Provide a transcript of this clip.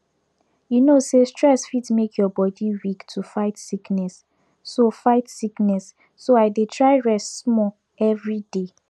you know say stress fit make your body weak to fight sickness so fight sickness so i dey try rest small every day